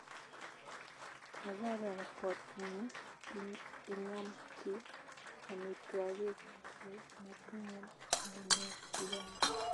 Kararan kot ngi iyam chii amitwagik che matinye munyek chechang